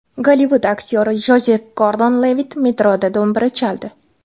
Gollivud aktyori Jozef Gordon-Levitt metroda do‘mbira chaldi .